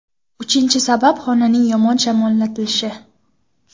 Uchinchi sabab xonaning yomon shamollatilishi.